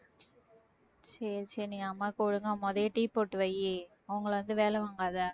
சரி சரி நீ அம்மாவுக்கு ஒழுங்கா முதல்லயே tea போட்டு வை அவங்கள வந்து வேலை வாங்காத